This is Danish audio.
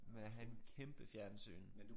Med at have en kæmpe fjernsyn